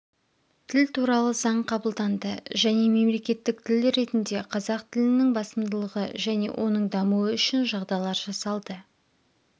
тіл туралы заң қабылданды және мемлекеттік тіл ретінде қазақ тілінің басымдылығы және оның дамуы үшін жағдайлар жасалды